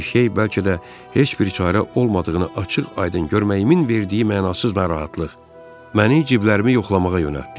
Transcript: Bir şey bəlkə də heç bir çarə olmadığını açıq-aydın görməyimin verdiyi mənasız narahatlıq məni ciblərimi yoxlamağa yönəltdi.